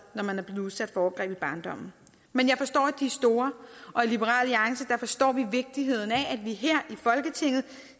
når man er blevet udsat for overgreb i barndommen men jeg forstår at de er store og i liberal alliance forstår vi vigtigheden af at man her i folketinget